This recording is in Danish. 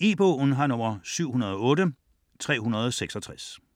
Ekspresbog E-bog 708366 2008.